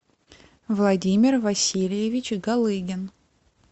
владимир васильевич галыгин